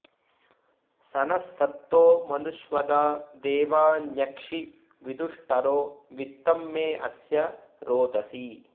स नः सत्तो मनुष्वदा देवान्यक्षि विदुष्टरो वित्तं मे अस्य रोदसी